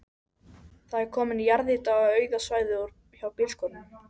Það er komin jarðýta á auða svæðið hjá bílskúrunum.